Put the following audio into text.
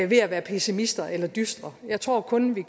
ved at være pessimister eller dystre jeg tror kun vi